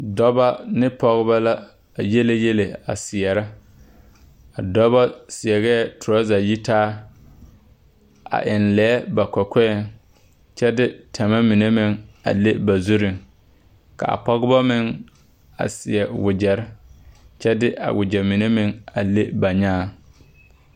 Dɔbɔ ne pɔge la yiele yieli a seɛrɛ a dɔbɔ seɛ torasa yitaa a eŋ lɛɛ ba kɔkɔɛɛŋ kyɛ de tama mine meŋ a le ba zuriŋ ka a pɔgeba meŋ a seɛ wagyere kyɛ de a wagyɛ mine meŋ a le ba nyaaŋ .